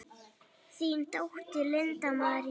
Þín dóttir, Linda María.